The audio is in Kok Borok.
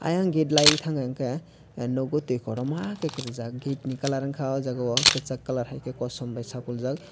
eyang gate lai tangka ke nogo tui kotorma ke rijak gate ni colour wngka kesak colour haike kasom bo sagkolog jak.